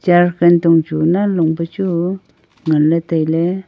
chair katong chu nan long pe chu ngan ley tai ley.